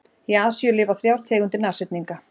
Í Asíu lifa þrjár tegundir nashyrninga.